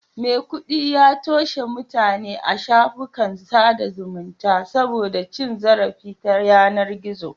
Maikudi ya toshe mutane a shafukan sada zumunta saboda cin zarafi ta yanar gizo